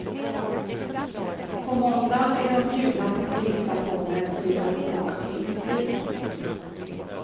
På måndag är de bjudna till polisstationen och de ska få åka polisbil.